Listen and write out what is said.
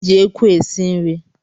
E jị ekwu esi nri